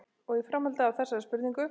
Og í framhaldi af þessari spurningu